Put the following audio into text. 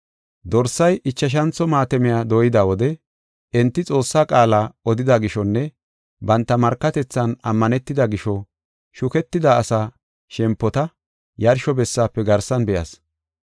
Dorsay ichashantho maatamiya dooyida wode enti Xoossaa qaala odida gishonne banta markatethan ammanetida gisho shuketida asaa shempota yarsho bessaafe garsan be7as.